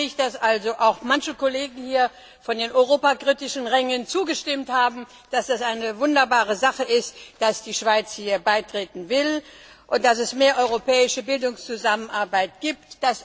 Ich freue mich, dass auch manche Kollegen von den europakritischen Rängen zugestimmt haben, dass es eine wunderbare Sache ist, dass die Schweiz hier beitreten will und dass es mehr europäische Bildungszusammenarbeit gibt.